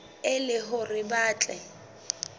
e le hore ba tle